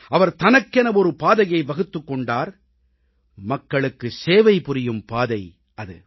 அவர் தனக்கென ஒரு பாதையை வகுத்துக் கொண்டார் மக்களுக்கு சேவை புரியும் பாதை அது